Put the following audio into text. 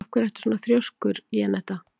Af hverju ertu svona þrjóskur, Jenetta?